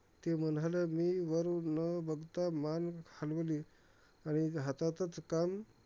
ते म्हणाले, मी वर न बघता मन हालवली आणि हातातलं काम